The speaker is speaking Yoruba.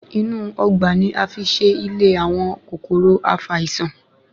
Inú Ọgbà ni a fi ṣe ìlé àwọn kòkòrò afàìsàn